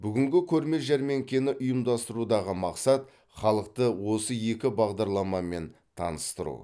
бүгінгі көрме жәрмеңкені ұйымдастырудағы мақсат халықты осы екі бағдарламамен таныстыру